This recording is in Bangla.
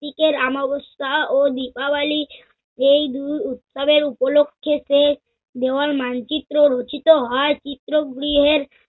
দিকের আমাবস্যা ও দীপাবলি এই দুই উৎসবের উপলক্ষে সে দেওয়াল মানচিত্র রচিত হয়। চিত্র গৃহের